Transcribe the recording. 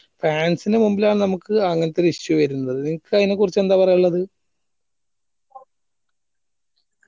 fans നു മുമ്പിലാ നമ്മക്ക് അങ്ങത്തൊരു issue വരുന്നത് നിനക്കയിന കുറിച്ചെന്താ പറയാനിള്ളത്